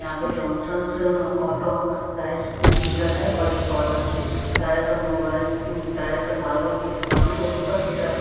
यहाँ पे Johnsons auto rice dealer है और एक बालाजी टाइल्स और मोबाइल्स टाइल्स और मार्बल्स की दुकान है और ऊपर की तरफ है --